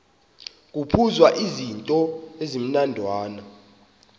kuphuzwa izityo ezimnandana